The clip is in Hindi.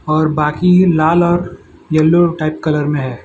और बाकी लाल और येलो टाइप कलर में है।